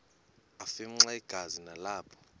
afimxa igazi nalapho